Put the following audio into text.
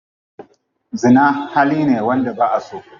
Zina hali ne wanda ba'aso.